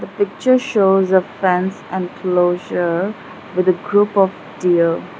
picture shows a fence enclosure with a group of deer.